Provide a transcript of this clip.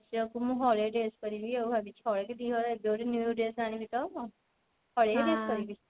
ଝିଅ କୁ ମୁଁ ହଳେ dress କରିବି ଆଉ ଭାବିଛି ହଳେ କି ଦି ହଳ dress ଆଣିବି ତ ହଳେ dress କରିବି